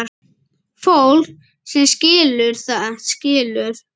Fólk sem skilur, það skilur.